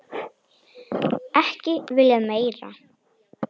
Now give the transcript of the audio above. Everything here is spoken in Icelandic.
Ekki viljað meira.